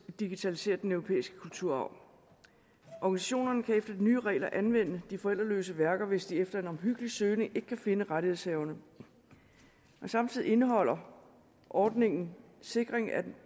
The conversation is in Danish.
digitalisere den europæiske kulturarv organisationerne kan efter de nye regler anvende de forældreløse værker hvis de efter en omhyggelig søgning ikke kan finde rettighedshaverne samtidig indeholder ordningen en sikring af